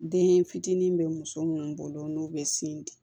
Den fitinin bɛ muso minnu bolo n'u bɛ sin di